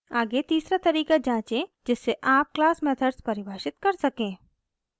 आगे तीसरा तरीका जाँचें जिससे आप क्लास मेथड्स परिभाषित कर सकें